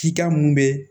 Cikan mun bɛ